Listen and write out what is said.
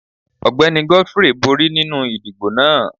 Ọgbẹni Godfrey bori ninu idibo naa.